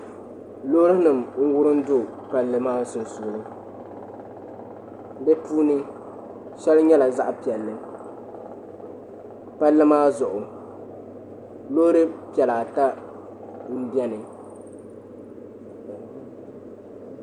Loori nim n wurim do palli maa sunsuuni bi puuni shɛli nyɛla zaɣ piɛlli palli maa zuɣu loori piɛla ata n biɛni